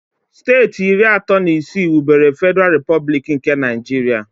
Steeti iri atọ na isii wubere Fediral Replublik nke Naijiria